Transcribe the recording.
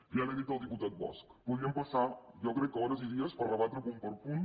ja li ho ha dit el diputat bosch podíem passar jo ho crec hores i dies per rebatre punt per punt